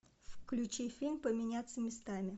включи фильм поменяться местами